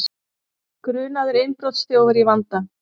Grunaður innbrotsþjófur í vanda